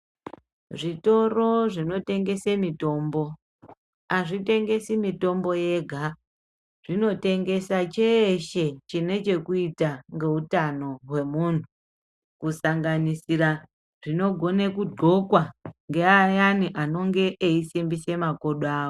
Zvitoro zvinotengese mitombo azvitengesi mutombo yega zvinotengesa cheeshe chine chekuita ngeutano hwemunhu kusanganisira zvinogone kugqoka ngeayani anenge eisimbise makodo awo.